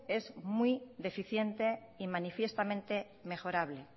es muy deficiente y manifiestamente mejorable